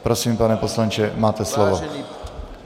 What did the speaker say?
Prosím, pane poslanče, máte slovo.